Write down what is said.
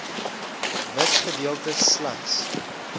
wit gedeeltes slegs